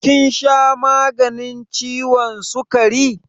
Kin sha maganin ciwon sukari?